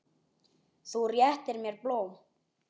Þú réttir mér blóm.